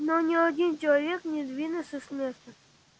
но ни один человек не сдвинулся с места